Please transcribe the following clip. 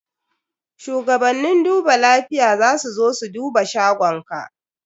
Shugabannin duba lafiya za su zo su duba shagonka.